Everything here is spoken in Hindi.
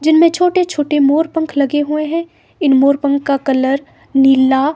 जिनमें छोटे-छोटे मोर पंख लगे हुए हैं इन मोर पंख का कलर नीला--